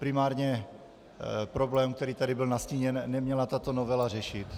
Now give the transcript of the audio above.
Primárně problém, který tady byl nastíněn, neměla tato novela řešit.